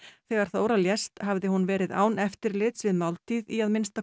þegar Þóra lést hafði hún verið án eftirlits við máltíð í að minnsta